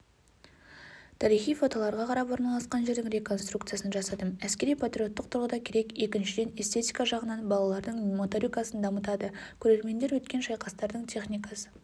тарихи фотоларға қарап орналасқан жердің реконструкциясын жасадым әскери-патриоттық тұрғыда керек екіншіден эстетика жағынан балалардың моторикасын дамытады көрермендер өткен шайқастардың техникасы